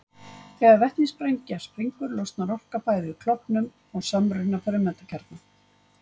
Þegar vetnissprengja springur losnar orka við bæði klofnun og samruna frumeindakjarna.